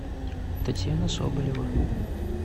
татьяна соболева